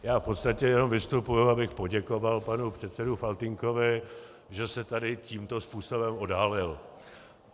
Já v podstatě jenom vystupuji, abych poděkoval panu předsedovi Faltýnkovi, že se tady tímto způsobem odhalil.